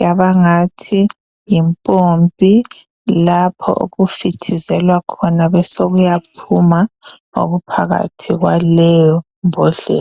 yaba ngathi yimpompi lapho okufithizelwa khona besokuyaphuma okuphakathi kwaleyo mbodlela.